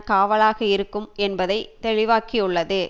காவலாக இருக்கும் என்பதை தெளிவாக்கியுள்ளது